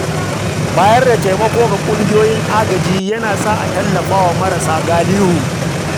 Bayar da taimako ga ƙungiyoyin agaji yana sa a tallafa wa marasa galihu.